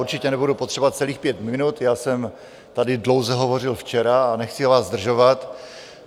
Určitě nebudu potřebovat celých pět minut, já jsem tady dlouze hovořil včera a nechci vás zdržovat.